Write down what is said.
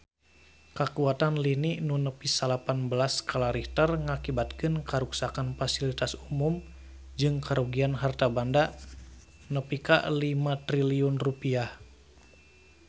Kakuatan lini nu nepi salapan belas skala Richter ngakibatkeun karuksakan pasilitas umum jeung karugian harta banda nepi ka 5 triliun rupiah